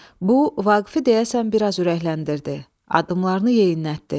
Bu, Vaqifi deyəsən biraz ürəkləndirdi, addımlarını yeyinlətdi.